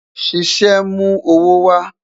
Ṣiṣẹ mu owo wa